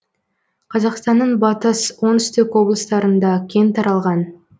қазақстанның батыс оңтүстік облыстарында кең таралған